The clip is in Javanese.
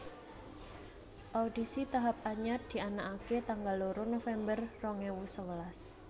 Audisi tahap anyar dianakaké tanggal loro November rong ewu sewelas